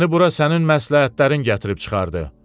Məni bura sənin məsləhətlərin gətirib çıxardı.